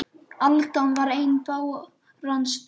Aldan er ein báran stök